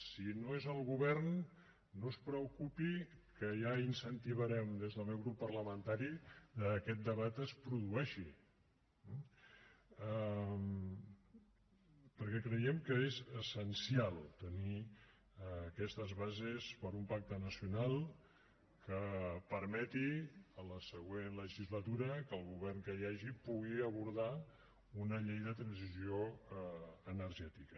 si no és el govern no es preocupi que ja incentivarem des del meu grup parlamentari que aquest debat es produeixi perquè creiem que és essencial tenir aquestes bases per a un pacte nacional que permeti a la següent legislatura que el govern que hi hagi pugui abordar una llei de transició energètica